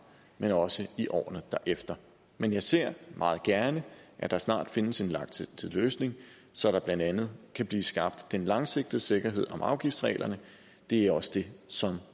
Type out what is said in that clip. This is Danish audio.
men også i årene derefter men jeg ser meget gerne at der snart findes en langsigtet løsning så der blandt andet kan blive skabt den langsigtede sikkerhed om afgiftsreglerne og det er også det som